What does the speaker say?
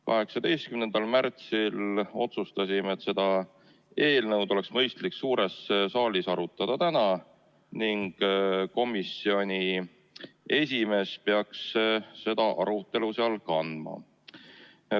18. märtsil otsustasime, et seda eelnõu oleks mõistlik suures saalis arutada täna ning selle peaks ette kandma komisjoni esimees.